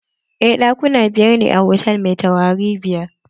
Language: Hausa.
Eh, ɗakuna biyar ne a hotal mai taurari biyar.